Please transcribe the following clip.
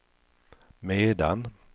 medan